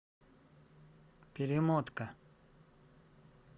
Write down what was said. перемотка